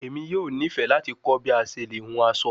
Emi yoo nifẹ lati kọ bi a ṣe le hun aso